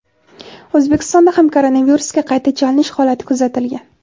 O‘zbekistonda ham koronavirusga qayta chalinish holati kuzatilgan.